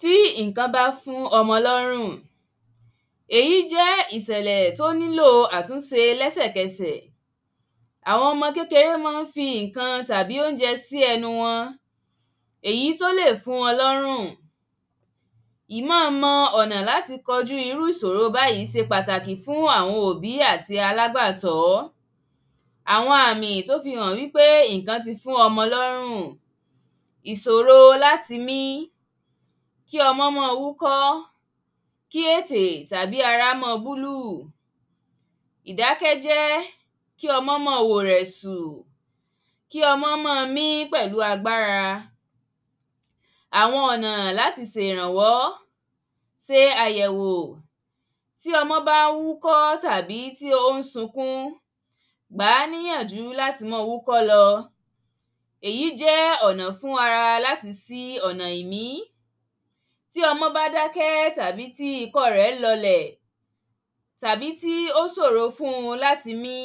Tí ǹǹkan bá fún ọmọ lọ́rùn, èyí jẹ́ ìsẹ̀lẹ̀ tó nílò àtúnse lẹ́sẹ̀kẹsẹ̀ Àwọn ọmọ kéker´é mọ́ ń fi ǹǹkan tàbí óúnjẹ sí ẹnu wọn èyí tó lè fún wọn lọ́rùn Ìmọ́ọmọ ọ̀nà láti kọjú irú ìsòro báyìí se pàtàkì fún àwọn òbí àti alágbàtọ́ Àwọn àmì tó fi hàn wípé ǹǹkan ti fún ọmọ lọ́rùn: ìsòro láti mi, kí ọmọ́ mọ wúkọ́, kí ètè tàbí ara mọ́ búlúù, ìdákẹ́jẹ́, kí ọmọ́ mọ wò rẹ̀sù, kí ọmọ́ mọ mí pẹ̀lu agbára Àwọn ọ̀nà láti se ìrànwó: se àyẹ̀wò tí ọmọ́ bá ń wúkọ́ tàbí tí ó ń sunkún, gbà níyànjú láti mọ wúkọ́ lọ, èyí jẹ́ ọ̀nà fún ara láti sí ọ̀nà ìmí Tí ọmọ́ bá dákẹ́ tàbí tí ikọ́ ọ́ rẹ lọlẹ̀ tàbí tí ó sòro fún-un láti mí,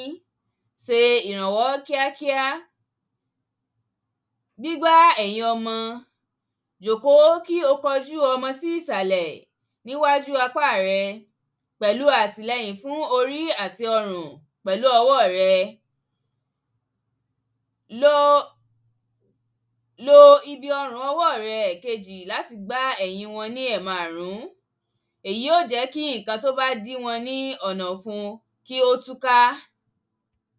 se ìrànwọ́ kíákíá; gbígbá èyìn ọmọ, jòkó kí o kọjú ọmọ sí ìsàlẹ̀ níwájú apá à rẹ pẹ̀lu àtìlẹyìn fún orí àti ọrùn pẹ̀lú ọwọ́ ọ̀ rẹ Lo, lo ibi ọwọ́ ọ̀ rẹ ẹ̀kejì láti gbá ẹ̀yin wọn ní ẹ̀maàrún, èyí ó jẹ́ kí ǹǹkan tí ó bá dí wọn ní ọ̀nà ọ̀fun kí ó tùká